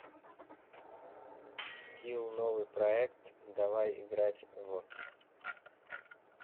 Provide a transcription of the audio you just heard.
скилл новый проект давай играть в